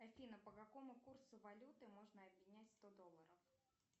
афина по какому курсу валюты можно обменять сто долларов